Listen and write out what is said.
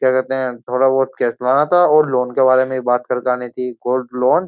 क्या कहते हैं थोड़ा बहुत कैश लाना था और लोन के बारे में बात करके आनी थी गोल्ड लोन ।